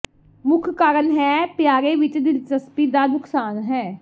ਮੁੱਖ ਕਾਰਨ ਹੈ ਪਿਆਰੇ ਵਿਚ ਦਿਲਚਸਪੀ ਦਾ ਨੁਕਸਾਨ ਹੈ